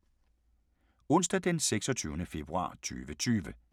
Onsdag d. 26. februar 2020